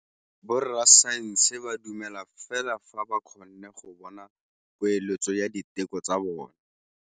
Borra saense ba dumela fela fa ba kgonne go bona poeletsô ya diteko tsa bone.